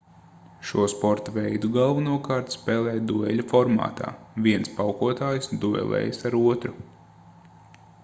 šo sporta veidu galvenokārt spēlē dueļa formātā viens paukotājs duelējas ar otru